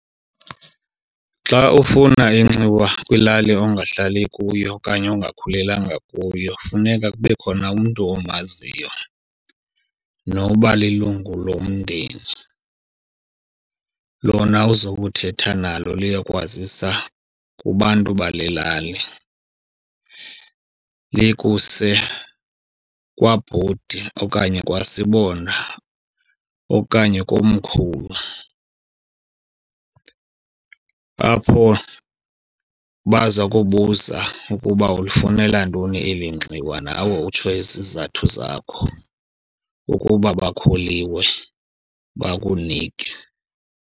Xa ufuna inxiwa kwilali ongahlali kuyo okanye ongakhulelanga kuyo funeka kube khona umntu omaziyo noba lilungu lomndeni. Lona uzokuthetha nalo liyokwazisa kubantu balelali. LIkuse kwabhoti okanye kwasibonda okanye komkhulu. Apho baza kubuza uba ulifunela ntoni eli nxiwa nawe utsho izizathu zakho, ukuba bakholiwe bakunike.